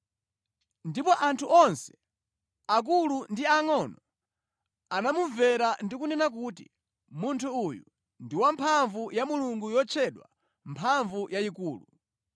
ndipo anthu onse, aakulu ndi aangʼono anamumvera ndi kunena kuti, “Munthu uyu ndi mphamvu ya Mulungu yotchedwa Mphamvu yayikulu.”